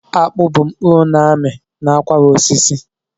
Akpụ bụ mkpụrụ n'ami n'akwara osisi.